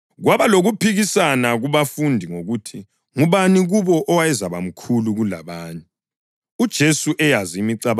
Kwaba lokuphikisana kubafundi ngokuthi ngubani kubo owayezabamkhulu kulabanye.